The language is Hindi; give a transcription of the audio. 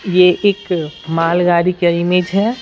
ये एक मालगाड़ी का इमेज है।